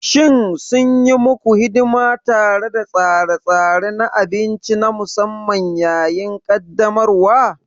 Shin sun yi muku hidima tare da tsare-tsare na abinci na musamman yayin ƙaddamarwa?